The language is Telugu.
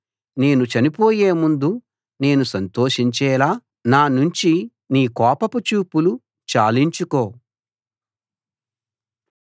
నేను చనిపోయేముందు నేను సంతోషించేలా నా నుంచి నీ కోపపు చూపులు చాలించుకో